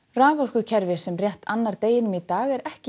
raforkukerfi sem rétt annar deginum í dag er ekki